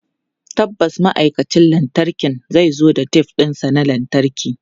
Tabbas ma'aikacin lantarkin zai zo da tef ɗinsa na lantarki.